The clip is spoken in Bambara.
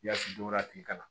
Yaasi don a tigi ka na